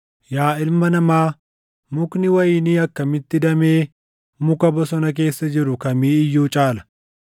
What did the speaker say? “Yaa ilma namaa, mukni wayinii akkamitti damee muka bosona keessa jiru kamii iyyuu caala?